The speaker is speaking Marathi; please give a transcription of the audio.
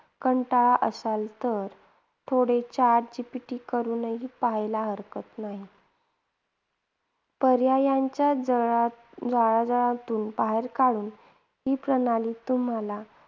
कंटाळला असाल तर थोडे chat GPT करूनही पाहायला हरकत नाही. पर्यायांच्या जळा जळांजळातुन बाहेर काढून ही प्रणाली तुम्हाला